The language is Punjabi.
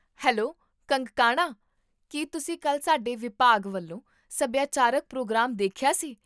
ਹੈਲੋ ਕੰਗਕਾਨਾ, ਕੀ ਤੁਸੀਂ ਕੱਲ੍ਹ ਸਾਡੇ ਵਿਭਾਗ ਵੱਲੋਂ ਸਭਿਆਚਾਰਕ ਪ੍ਰੋਗਰਾਮ ਦੇਖਿਆ ਸੀ?